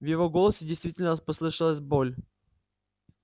в его голосе действительно послышалась боль